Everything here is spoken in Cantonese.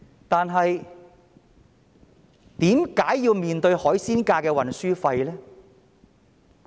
但是，他們為甚麼要面對海鮮價的運輸費呢？